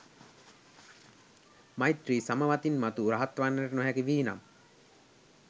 මෛත්‍රී සමවතින් මතු රහත් වන්නට නොහැකි වී නම්